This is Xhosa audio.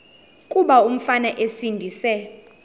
kuba umfana esindise